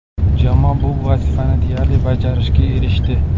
Jamoa bu vazifani deyarli bajarishga erishdi.